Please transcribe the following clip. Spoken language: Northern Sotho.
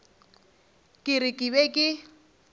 ke re ke be ke